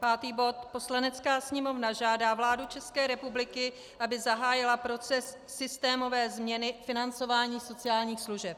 Pátý bod: Poslanecká sněmovna žádá vládu České republiky, aby zahájila proces systémové změny financování sociálních služeb.